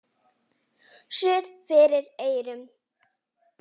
Suð fyrir eyrum.